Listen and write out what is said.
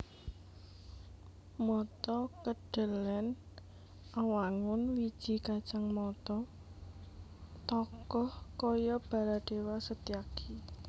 Mata Kedhelèn Awangun wiji kacang mata tokoh kaya Baladéwa Setyaki